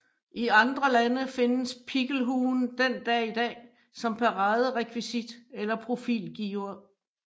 I andre lande findes pikkelhuen den dag i dag som paraderekvisit eller profilgiver